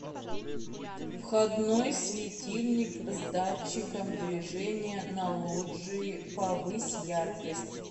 входной светильник с датчиком движения на лоджии повысь яркость